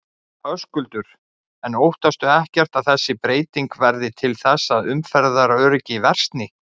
Höskuldur: En óttastu ekkert að þessi breyting verði til þess að umferðaröryggi versni?